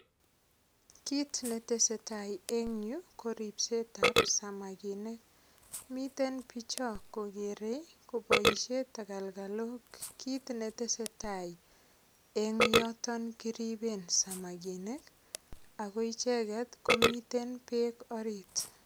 Kit netesetai en yu ko ripset ap samakinik miten bicho kokerei koboishen tekelkelok kit netesetai en yoton kiriben samakinik Ako icheket komiten beek orit